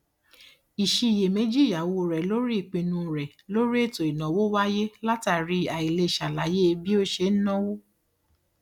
ìṣiyèméjì ìyàwó rẹ lórí ìpinu rẹ lórí ètò ìnáwó wáyé látàrí àìlè ṣàlàyé bí ó ṣe ń náwó